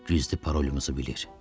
Gizli parolumuzu bilir.